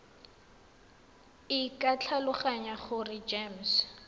e ke tlhaloganya gore gems